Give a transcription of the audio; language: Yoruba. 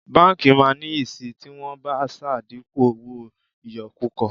Báńkì máa níyì sì tí wọ́n bá ṣàdínkù owó ìyọkúkọ.